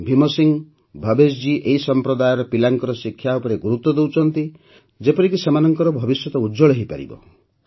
ଭୀମ ସିଂହ ଭବେଶ ଜୀ ଏହି ସମ୍ପ୍ରଦାୟର ପିଲାଙ୍କର ଶିକ୍ଷା ଉପରେ ଗୁରୁତ୍ୱ ଦେଉଛନ୍ତି ଯେପରିକି ସେମାନଙ୍କର ଭବିଷ୍ୟ ଉଜ୍ୱଳ ହୋଇପାରିବ